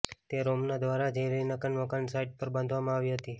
તે રોમનો દ્વારા જ હેલેનિક મકાન સાઇટ પર બાંધવામાં આવી હતી